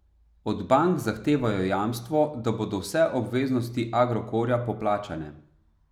Od bank zahtevajo jamstvo, da bodo vse obveznosti Agrokorja poplačane.